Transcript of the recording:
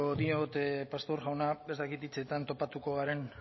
diot pastor jauna ez dakit hitzetan topatuko garen